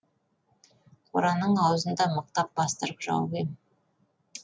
қораның аузын да мықтап бастырып жауып ем